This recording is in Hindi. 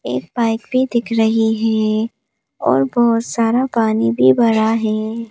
एक बाइक भी दिख रही है और बहुत सारा पानी भी भरा है।